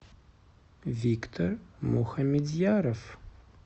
виктор мухамедьяров